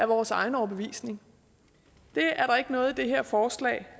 vores egen overbevisning det er der ikke noget i det her forslag